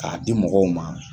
K'a di mɔgɔw ma.